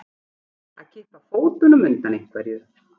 Að kippa fótunum undan einhverju